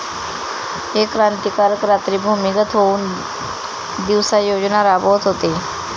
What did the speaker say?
हे क्रांतिकारक रात्री भूमिगत होऊन दिवसा योजना राबवत होते